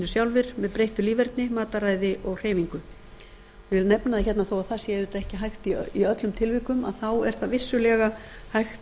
sjálfir með breyttu líferni mataræði og hreyfingu ég vil nefna hérna þó það sé auðvitað ekki hægt í öllum tilvikum að þá er það vissulega hægt